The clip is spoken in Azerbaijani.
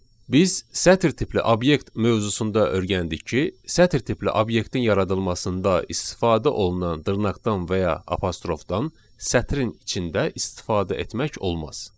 Biz sətir tipli obyekt mövzusunda öyrəndik ki, sətir tipli obyektin yaradılmasında istifadə olunan dırnaqdan və ya apostrofdan sətrin içində istifadə etmək olmaz.